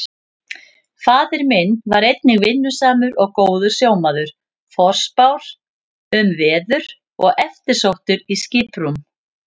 Faðir minn var einnig vinnusamur og góður sjómaður, forspár um veður og eftirsóttur í skiprúm.